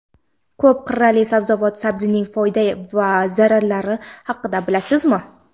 Ko‘p qirrali sabzavot — sabzining foyda va zararlari haqida bilasizmi?.